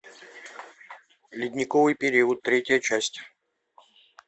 ледниковый период третья часть